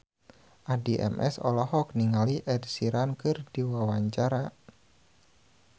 Addie MS olohok ningali Ed Sheeran keur diwawancara